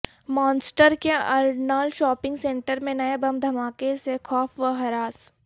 مانچسٹرکے Arndale shopping centre میں نئے بم دھماکے سے خوف و ہراس